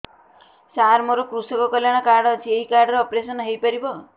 ସାର ମୋର କୃଷକ କଲ୍ୟାଣ କାର୍ଡ ଅଛି ଏହି କାର୍ଡ ରେ ଅପେରସନ ହେଇପାରିବ